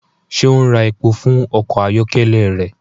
Ṣe o ń rà èpò fún ọkọ ayọkẹlẹ rẹ?